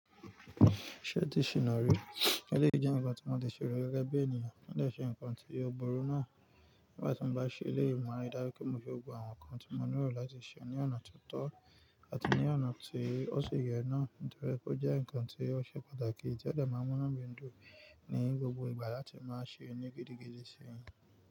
Ṣé o ti ṣìná rí? Eleyi jẹ́ ǹkan tí mo ti ṣe rí gẹ́gẹ́ bí ènìyàn, ó lè ṣe ǹkan tí ó burú náà. Nígbà tí n bá ṣe eléyìí, máa ri dáju pé mo fẹ wo gbogbo àwọn ǹkan tí mo le rò láti ṣe ní ọ̀nà tó tọ́ àti ní ọ̀nà tí ó sì yẹ náà. Nítorí pé ó jẹ́ ǹkan tí ó ṣe pàtàkì tí ó dẹ máa mú inu mi dùn ní gbogbo ìgbà láti máa ṣe ńi gidi, gidi si.